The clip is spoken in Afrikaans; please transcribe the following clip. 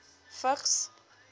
vigs